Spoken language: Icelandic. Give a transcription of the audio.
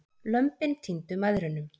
Lömbin týndu mæðrunum.